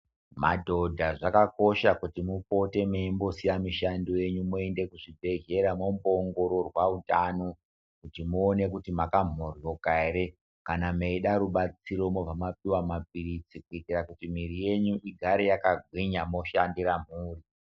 Madhodha zvakakosha kuti mupote meimbo siya mishando yenyu moende ku zvibhedhleya mombo ongororwa utano kutu muone kuti maka mhohloka kana meida rubatsiro mobva mapihwa mapiritsi kuitira kuti mwiri yenyu igare yaka gwinya moshandira mhuri.